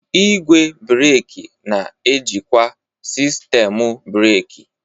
Igwe breeki na-ejikwa sistemu breeki.